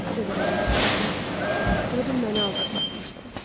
O qədər əzab çəkirdim ki, elə bil məni aldadıb atmışdılar.